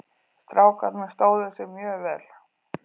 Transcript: Strákarnir stóðu sig mjög vel.